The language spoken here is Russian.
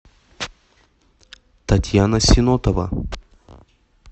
татьяна синотова